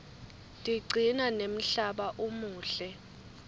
tiqcina nemhlaba umuhle